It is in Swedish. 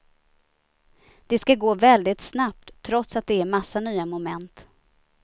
Det ska gå väldigt snabbt trots att det är massa nya moment.